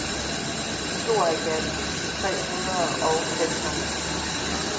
tooghalvfjerds tusind tre hundrede og seksoghalvfems